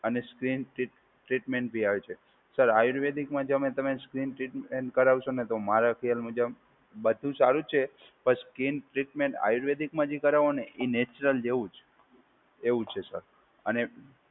અને skin treat treatment બી આવે છે. સર આયુર્વેદિકમાં તો તમે સ્કિન ટ્રીટમેન્ટ કરાવશો તો મારા ખ્યાલ મુજબ બધું સારું છે. પણ સ્કિન ટ્રીટમેન્ટ આયુર્વેદિકમાં જે કરવોને એ નેચરલ જેવું જ એવું છે સર. અને